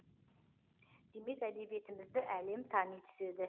демек әдебиетімізді әлем тани түседі